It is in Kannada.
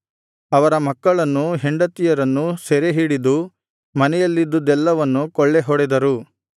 ಅವರ ಮಕ್ಕಳನ್ನೂ ಹೆಂಡತಿಯರನ್ನೂ ಸೆರೆಹಿಡಿದು ಮನೆಯಲ್ಲಿದ್ದುದ್ದೆಲ್ಲವನ್ನು ಕೊಳ್ಳೆ ಹೊಡೆದರು